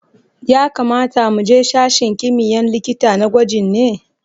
Ya kamata mu je sashen kimiyya'n likita na gwajin ne?